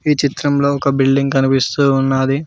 ఈ చిత్రంలో ఒక బిల్డింగ్ కనిపిస్తూ ఉన్నది.